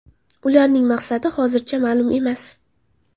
Ularning maqsadi hozircha ma’lum emas.